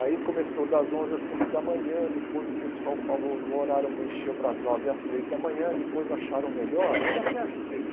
Aí começou das onze às cinco da manhã, depois o pessoal falou do horário, mexeu para as nove às três da manhã, depois acharam melhor, aí até ajudei.